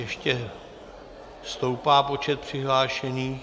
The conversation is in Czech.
Ještě stoupá počet přihlášených.